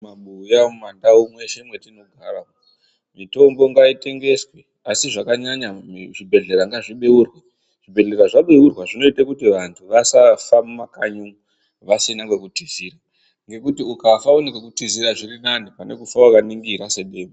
Mumabuya mumandau mweshe mwatinogara, mitombo ngaitengeswe, asi zvakanyanya zvibhedhlera ngazvibeurwe .Zvibhedhlera zvabeurwa zvinoita kuti vantu vasafa mumakanyi umwu, vasina kwekutizira, ngekuti ukafa une kwekutizira zviri nane, pane kufa wakaningira sedemba.